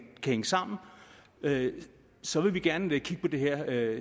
sammen så vil vi gerne kigge på det her